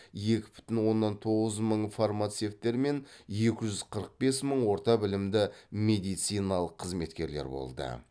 екі бүтін оннан тоғыз мың фармацевттер мен екі жүз қырық бес мың орта білімді медициналық қызметкерлер болды